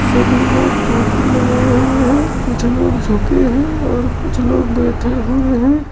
सभी लोग टोपी लगाए हुए है कुछ लोग झुके है और कुछ लोग बैठे हुए है।